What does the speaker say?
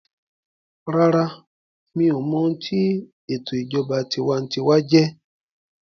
Rárá, mi ò mọ ohun tí sé o mọ ǹkan tí ètò ìṣèjọba tinwatinwa jẹjẹ́